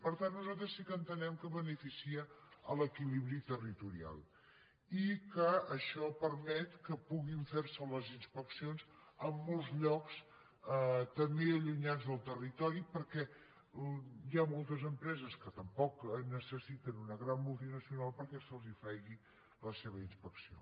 per tant nosaltres sí que entenem que beneficia l’equilibri territorial i que això permet que puguin fer se les inspeccions en molts llocs també allunyats del territori perquè hi ha moltes empreses que tampoc necessiten una gran multinacional perquè se’ls faci la seva inspecció